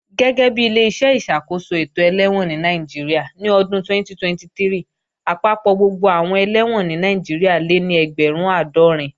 Gẹ́gẹ́bi Ileṣẹ́ ìṣàkóso ètò ẹlẹ́wọ̀n ní Nàìjíríà, ní ọdún 2023, àpapọ̀ gbogbo àwọn ẹlẹ́wọ̀n ní Nàìjíríà lé ní ẹgbẹ̀rún àádọ́rin